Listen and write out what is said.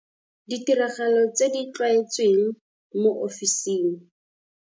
Ditiragalo tse di tlwaetsweng mo ofising.